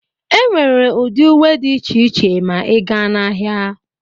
Enwere ụdị uwe dị iche iche ma ịga na ahịa.